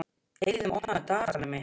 Eiðunn, opnaðu dagatalið mitt.